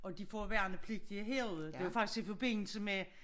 Og de får værnepligtige herude det var faktisk i forbindelse med